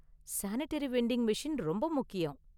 Sanitary vending machine ரொம்ப முக்கியம்.